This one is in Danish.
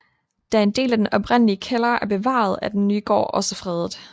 Da en del af den oprindelige kælder er bevaret er den nye gård også fredet